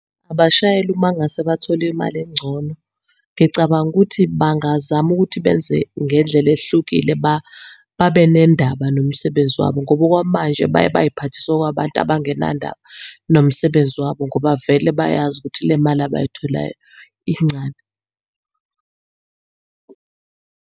Abashayeli uma ngase bathole imali engcono, ngicabanga ukuthi bangazama ukuthi benze ngendlela ehlukile babenendaba nomsebenzi wabo ngoba okwamanje baye bayiphathise okwabantu abangenandaba nomsebenzi wabo ngoba vele bayazi ukuthi le mali abayitholayo incane.